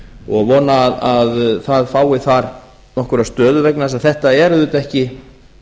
og vona að það fái þar nokkra stöðu vegna þess að þetta er auðvitað ekki